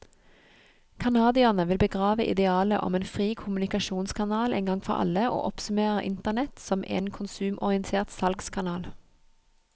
Canadierne vil begrave idealet om en fri kommunikasjonskanal en gang for alle, og oppsummerer internett som en konsumorientert salgskanal.